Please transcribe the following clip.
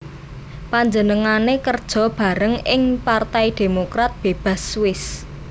Panjenengané kerja bareng ing Partai Demokrat Bebas Swiss